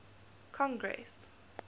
congress